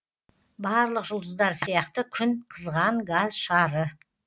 барлық жұлдыздар сияқты күн қызған газ шары